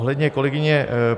Ohledně kolegyně